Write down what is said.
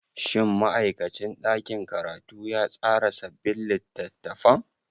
Shin ma'aikacin ɗakin karatu ya tsara sabbin littattafan?